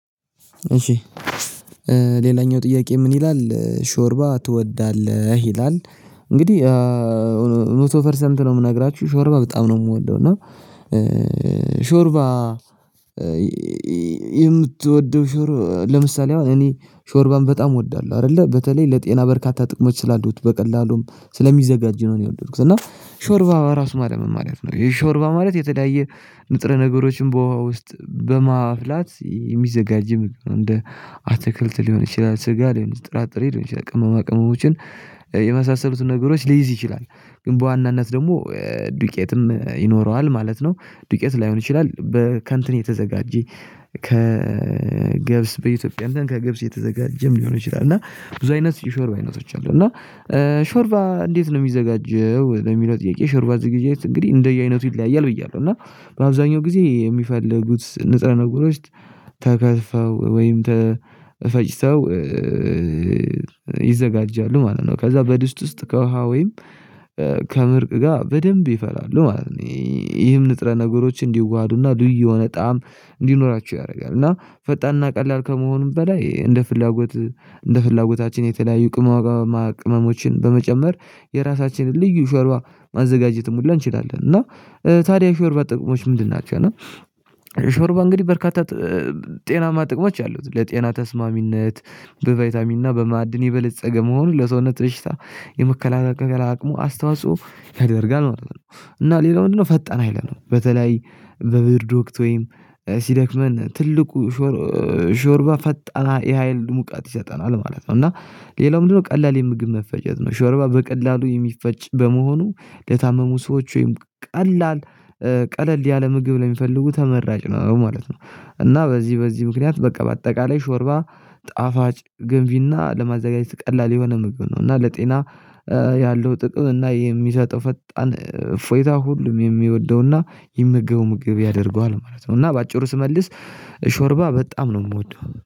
እሺ ሌላኛው ጥያቄ ምን ይላል ሾርባ ትወዳለህ ይላል? እንግዲህ መቶ ፐርሰንት ነው የምነግራችሁ ሾርባ በጣም ነው የምወደው። እና ሾርባ የምትወደው ሾርባ ለምሳሌ አሁን እኔ ሾርባን በጣም እወዳለሁ አይደለ በተለይ ለጤና በርካታ ጥቅሞች ስላሉት በቀላሉም ስለሚዘጋጅ ነው እኔ የወደድኩት እና ሾርባ ራሱ ማለት ምን ማለት ነው? የሾርባ ማለት የተለያየ ንጥረ ነገሮችን በውሃ ውስጥ በማፍላት የሚዘጋጅም እንደ አትክልት ሊሆን ይችላል ስጋ ሊሆን ይችላል ጥራጥሬ ሊሆን ይችላል ቅመማ ቅመሞችን የመሳሰሉትን ነገሮች ሊይዝ ይችላል ግን በዋናነት ደግሞ ዱቄትም ይኖረዋል ማለት ነው። ዱቄት ላይሆን ይችላል በከእንትን የተዘጋጀ ከገብስ በኢትዮጵያ እና ከገብስ የተዘጋጀም ሊሆን ይችላል እና ብዙ አይነት የሾርባ አይነቶች አሉ። እና ሾርባ እንዴት ነው የሚዘጋጀው ለሚለው ጥያቄ የሾርባ ዝግጅት እንግዲህ እንደየ አይነቱ ይለያያል። ብያለሁ እና በአብዛኛው ጊዜ የሚፈልጉት ንጥረ ነገሮች ተከትፈው ወይም ተፈጭተው ይዘጋጃሉ ማለት ነው። ከዛ በድስት ውስጥ ከውሃ ወይም ከምርቅ ጋር በደንብ ይፈላሉ ማለት ነው። ይሄም ንጥረ ነገሮች እንዲዋሃዱና እና ልዩ የሆነ ጣዕም እንዲኖራቸው ያደርጋል እና ፈጣንና ቀላል ከመሆኑም በላይ እንደ ፍላጎት እንደ ፍላጎታችን የተለያዩ ቅመማ ቅመሞችን በመጨመር የራሳችንን ልዩ ሾርባ ማዘጋጀትም ሁሉ እንችላለን። እና ታዲያ የሾርባ ጥቅሞች ምንድን ናቸው? እና ሾርባ እንግዲህ በርካታ ጤናማ ጥቅሞች አሉት ለጤና ተስማሚነት በቫይታሚና በማዕድን የበለፀገ መሆኑን ለሰውነት በሽታ የመከላከል አቅሙ አስተዋጽኦ ያደርጋል ማለት ነው። እና ሌላው ምንድነው ፈጣን ሀይለ ነው በተለይ በብርድ ወቅት ወይም ሲደክመን ትልቁ ሾርባ ፈጣን የሀይል ሙቀት ይሰጠናል ማለት ነው። እና ሌላው ምንድነው? ቀላል የምግብ መፈጀት ነው ሾርባ በቀላሉ የሚፈጭ በመሆኑ ለታመሙ ሰዎች ወይም ቀላል ቀለል ያለ ምግብ ላይ የሚፈልጉ ተመራጭ ነው ማለት ነው። እና በዚህ በዚህ ምክንያት በቃ በአጠቃላይ ሾርባ ጣፋጭ ገንቢና ለማዘጋጀት ቀላል የሆነ ምግብ ነው እና ለጤና ያለው ጥቅም እና የሚሰጠው ፈጣን እፎይታ ሁሉም የሚወደው እና የሚማገበው ምግብ ያደርገዋል ማለት ነው። እና በአጭሩ ስመልስ ሾርባ በጣም ነው የምወደው